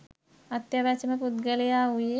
අත්‍යවශ්‍යම පුද්ගලයා වූයේ